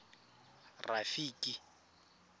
rafiki